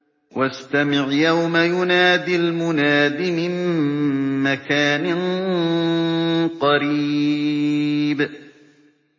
وَاسْتَمِعْ يَوْمَ يُنَادِ الْمُنَادِ مِن مَّكَانٍ قَرِيبٍ